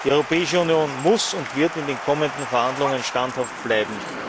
Die Europäische Union muss und wird in den kommenden Verhandlungen standhaft bleiben.